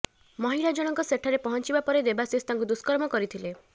ମହିଳାଜଣଙ୍କ ସେଠାରେ ପହଞ୍ଚିବା ପରେ ଦେବାଶିଷ ତାଙ୍କୁ ଦୁଷ୍କର୍ମ କରିଥିଲେ